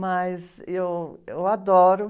Mas eu, eu adoro.